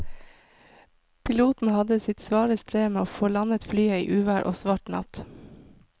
Piloten hadde sitt svare strev med å få landet flyet i uvær og svart natt.